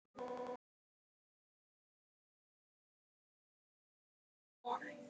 KOMDU SEGI ÉG!